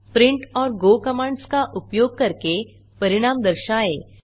print और go commands का उपयोग करके परिणाम दर्शाएँ